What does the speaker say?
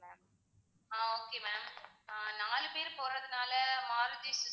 ஆஹ் okay ma'am. ஆஹ் நாலு பேரு போறதுனால maruti